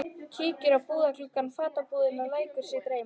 Kíkir í búðarglugga fatabúðanna og lætur sig dreyma.